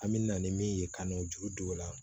An me na ni min ye ka n'o juru don o la